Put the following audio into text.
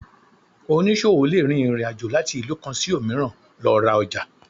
Onísọwo le rín ìrín àjọ latí ilú kan sí omìràn lo ra ojà